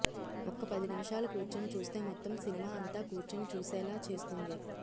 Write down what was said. ఒక్క పది నిముషాలు కూర్చొని చూస్తే మొత్తం సినిమా అంతా కూర్చొని చూసేలా చేస్తుంది